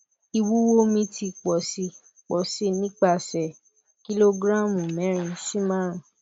iwuwo mi ti pọ si pọ si nipasẹ kilogramu mẹrin si marun